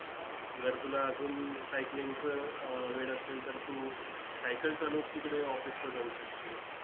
जर तुला अजून cycling चं अह वेड असेल तर, तू cycle चालवून तिकडे office ला जाऊ शकशील.